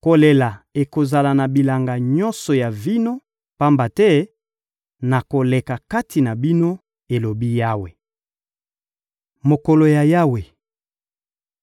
Kolela ekozala na bilanga nyonso ya vino, pamba te nakoleka kati na bino,» elobi Yawe. Mokolo ya Yawe